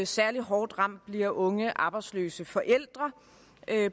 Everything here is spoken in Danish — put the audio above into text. særlig hårdt ramt bliver unge arbejdsløse forældre